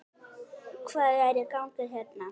Hvað er í gangi hérna?